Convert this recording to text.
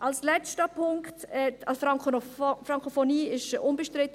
Als letzten Punkt: Die Frankophonie ist unbestritten.